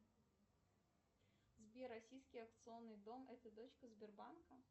сбер российский акционный дом это дочка сбербанка